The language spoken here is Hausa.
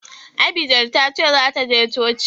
Abigel ta ce za ta je coci.